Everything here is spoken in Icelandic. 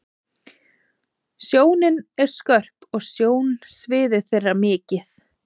Sjónin er skörp og sjónsvið þeirra mikið.